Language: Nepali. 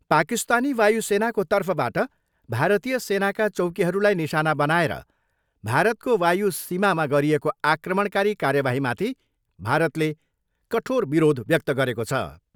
पाकिस्तानी वायु सेनाको तर्फबाट भारतीय सेनाका चौकीहरूलाई निशाना बनाएर भारतको वायु सीमामा गरिएको आक्रमणकारी कार्यवाहीमाथि भारतले कठोर विरोध व्यक्त गरेको छ।